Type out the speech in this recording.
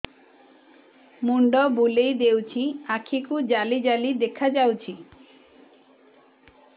ମୁଣ୍ଡ ବୁଲେଇ ଦେଉଛି ଆଖି କୁ ଜାଲି ଜାଲି ଦେଖା ଯାଉଛି